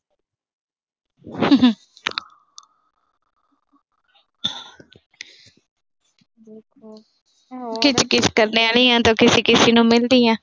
Kit-kit ਕਰਨ ਆਲੀਆਂ ਤਾਂ ਕਿਸੇ-ਕਿਸੇ ਨੂੰ ਮਿਲਦੀਆਂ।